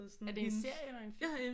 Er det en serie eller en film